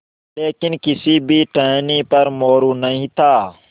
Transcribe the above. लेकिन किसी भी टहनी पर मोरू नहीं था